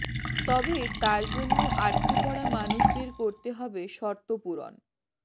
তবে তার জন্য আটকে পড়া মানুষদের করতে হবে শর্তপূরণ